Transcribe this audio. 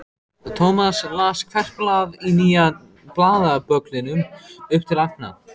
Thomas las hvert blað í nýja blaðabögglinum upp til agna.